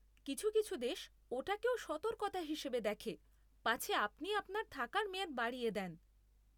কিছু কিছু দেশ ওটাকেও সতর্কতা হিসেবে দেখে পাছে আপনি আপনার থাকার মেয়াদ বাড়িয়ে দেন।